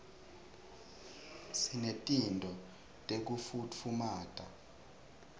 sinetinto tekufutfumata